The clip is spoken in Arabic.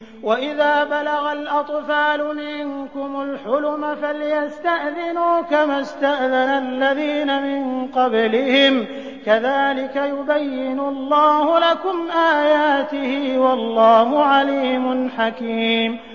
وَإِذَا بَلَغَ الْأَطْفَالُ مِنكُمُ الْحُلُمَ فَلْيَسْتَأْذِنُوا كَمَا اسْتَأْذَنَ الَّذِينَ مِن قَبْلِهِمْ ۚ كَذَٰلِكَ يُبَيِّنُ اللَّهُ لَكُمْ آيَاتِهِ ۗ وَاللَّهُ عَلِيمٌ حَكِيمٌ